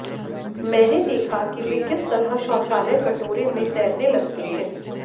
मैंने देखा कि वे किस तरह शौचालय कटोरे में तैरने लगते हैं